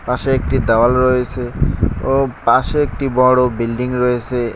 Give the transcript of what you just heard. পাশে একটি দেওয়াল রয়েছে ও পাশে একটি বড় বিল্ডিং রয়েছে।